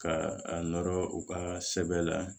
Ka a nɔrɔ u ka sɛbɛn la